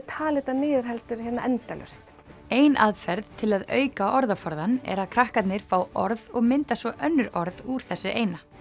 tala þetta niður heldur endalaust ein aðferð til að auka orðaforðann er að krakkarnir fá orð og mynda svo önnur orð úr þessu eina